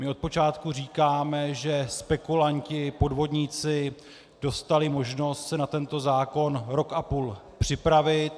My od počátku říkáme, že spekulanti, podvodníci dostali možnost se na tento zákon rok a půl připravit.